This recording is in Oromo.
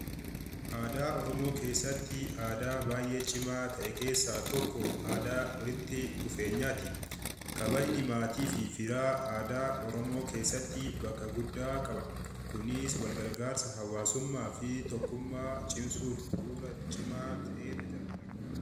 Aadaa Oromoo keessatti aadaa baay'ee cimaa ta'e keessaa tokko aadaa walitti dhufeenyaati. Kabajni maatii fi firaa aadaa Oromoo keessatti bakka guddaa qaba. Kunis wal gargaarsa hawaasummaa fi tokkummaa cimsuuf bu'uura cimaa ta'ee tajaajila.